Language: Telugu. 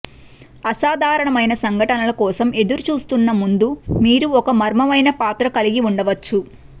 అసాధారణమైన సంఘటనల కోసం ఎదురుచూస్తున్న ముందు మీరు ఒక మర్మమైన పాత్ర కలిగి ఉండవచ్చు